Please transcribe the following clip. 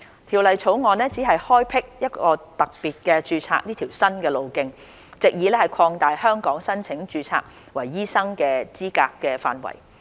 《條例草案》只開闢特別註冊這條新途徑，藉以擴大在香港申請註冊為醫生的資格範圍。